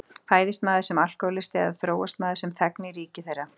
Fæðist maður sem alkohólisti eða þróast maður sem þegn í ríki þeirra?